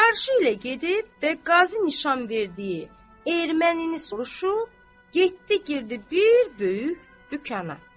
Çarşı ilə gedib və qazı nişan verdiyi ermənini soruşub, getdi girdi bir böyük dükana.